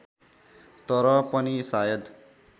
तर पनि सायद